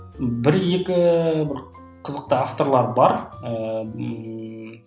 бір екі бір қызықты авторлар бар ыыы ммм